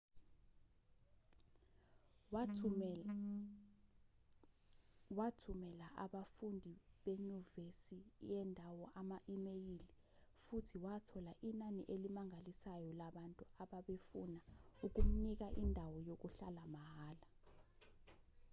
wathumela abafundi benyuvesi yendawo ama-imeyili futhi wathola inani elimangalisayo labantu ababefuna ukumnika indawo yokuhlala mahhala